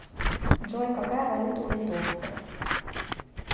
джой какая валюта у литовцев